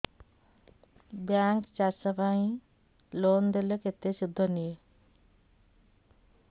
bank ଚାଷ ପାଇଁ loan ଦେଲେ କେତେ ସୁଧ ନିଏ